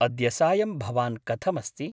अद्य सायं भवान् कथमस्ति ?